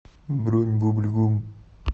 бронь бубль гум